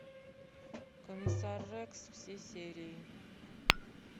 комиссар рекс все серии